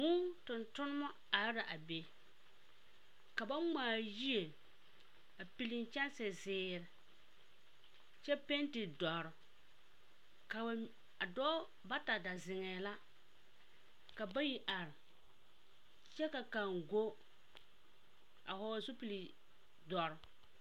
Vūū tontoneba are la a be. Ka ba ŋmaa yie a pili kyɛnse zeere, kyɛ penti dɔre. Ka ba mi… A dɔɔ… bata da zeŋɛɛ la, ka bayi are, kyɛ ka kaŋ a hɔɔl zupil dɔre.